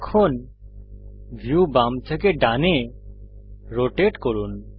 এখন ভিউ বাম থেকে ডানে রোটেট করুন